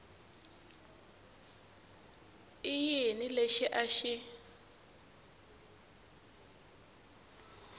i yini lexi a xi